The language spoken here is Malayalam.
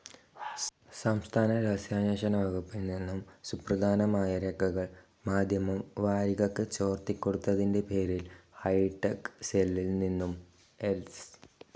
സംസ്ഥാന രഹസ്യാന്വേഷണ വകുപ്പിൽ നിന്നും സുപ്രധാനമായ രേഖകൾ മാധ്യമം വാരികക്ക് ചോർത്തി കൊടുത്തതിൻ്റെ പേരിൽ ഹൈറ്റെക്‌ സെല്ലിൽ നിന്നും എസ്.